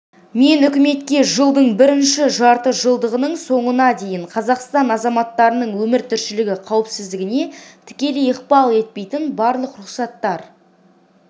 мен үкіметке жылдың бірінші жартыжылдығының соңына дейін қазақстан азаматтарының өмір-тіршілігі қауіпсіздігіне тікелей ықпал етпейтін барлық рұқсаттар